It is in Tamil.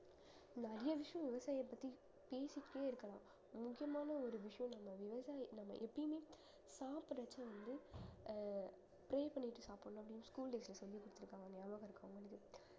நிறைய விஷயம் விவசாயியை பத்தி பேசிக்கிட்டே இருக்கலாம் முக்கியமான ஒரு விஷியம் நம்ம விவசாயி நம்ம எப்பயுமே சாப்பிடறச்ச வந்து அஹ் pray பண்ணிட்டு சாப்பிடணும் அப்படின்னு school days ல சொல்லி குடுத்திருக்காங்க ஞாபகம் இருக்கா உங்களுக்கு